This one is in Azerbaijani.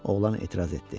Oğlan etiraz etdi.